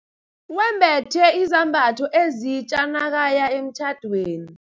Wembethe izambatho ezitja nakaya emtjhadweni.